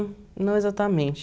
não exatamente.